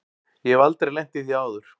Ég hef aldrei lent í því áður.